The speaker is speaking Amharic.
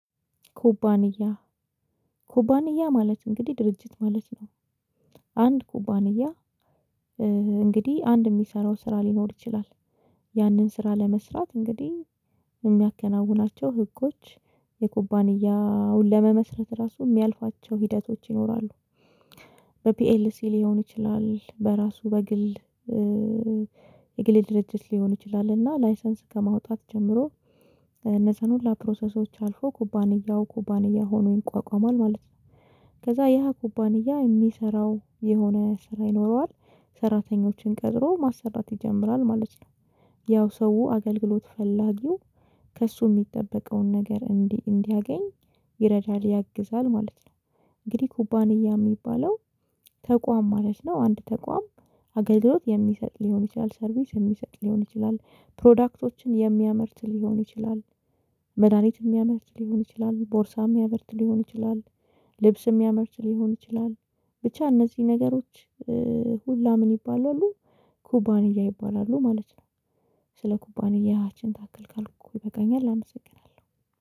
ኩባንያ ኩባንያ ማለት እንግዲህ ድርጅት ማለት ነው። አንድ ኩባንያ እንግዲህ አንድ የሚሰራው ስራ ሊኖር ይችላል። ያንን ስራ ለመስራት እንግዲህ የሚያከናውናቸው ህጎች የኩባንያውን ለመመስረት ራሱ የሚያልፏቸው ሂደቶች ይኖራሉ። በፒኤልሲ ሊሆን ይችላል በራሱ በግል የግል ድርጅት ሊሆን ይችላል እና ላይሰንስ ከማውጣት ጀምሮ እነዛን ሁላ ፕሮሰሶች አልፎ ኩባንያው ኩባንያ ሆኖ ይቋቋማል ማለት ነው። ከዛ ያ ኩባንያ የሚሰራው የሆነ ስራ ይኖረዋል ሰራተኞችን ቀጥሮ ማሰራት ይጀምራል ማለት ነው። ያው ሰው አገልግሎት ፈላጊው ከእሱ የሚጠበቀውን ነገር እንዲያገኝ ይረዳል ያግዛል ማለት ነው። እንግዲህ ኩባንያ የሚባለው ተቋም ማለት ነው። አንድ ተቋም አገልግሎት የሚሰጥ ሊሆን ይችላል ሰርቪስ የሚሰጥ ሊሆን ይችላል ፕሮዳክቶችን የሚያመርት ሊሆን ይችላል። መድሃኒት የሚያመርት ሊሆን ይችላል ቦርሳ የሚያመርት ሊሆን ይችላል። ልብስም ሚያመርት ሊሆን ይችላል ብቻ እነዚህ ነገሮች ሁላ ምን ይባላሉ ኩባንያ ይባላሉ ማለት ነው። ስለ ኩባንያ ይህን ታክል ካልኩ ይበቃኛል አመሰግናለሁ።